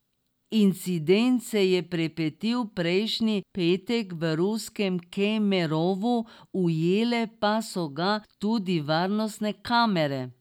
Incident se je pripetil prejšnji petek v ruskem Kemerovu, ujele pa so ga tudi varnostne kamere.